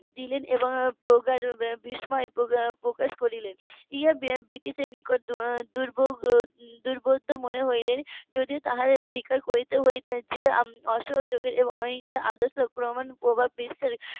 এবং প্রগাঢ় বিস্ময় প্রকাশ প্রকাশ করলেন ইহা ব্রিটিশ এর নিকট দুর্ভোগ দুর্বোধ্য মনে হলে যদিও তাদের স্বীকার করতে হতো যে অসহযোগের এবং অহিংসা আদর্শ প্রমান প্রভাব বিস্তার